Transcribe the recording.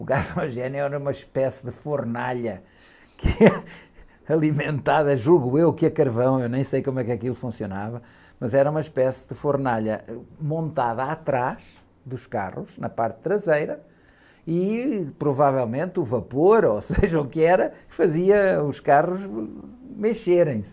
O gasogênio era uma espécie de fornalha alimentada, que, alimentada, julgo eu, que a carvão, eu nem sei como é que aquilo funcionava, mas era uma espécie de fornalha montada atrás dos carros, na parte traseira, e provavelmente o vapor, ou seja o que era, fazia os carros mexerem.